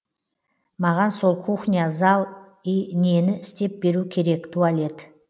маған сол кухня зал и нені істеп беру керек туалет